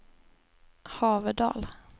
Haverdal